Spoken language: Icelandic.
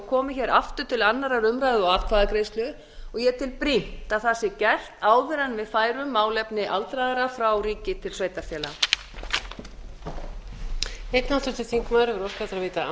komi hér aftur til annarrar umræðu og atkvæðagreiðslu og ég tel brýnt að það sé gert áður en við færum málefni aldraðra frá ríki til sveitarfélaga